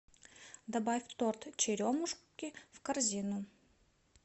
добавь торт черемушки в корзину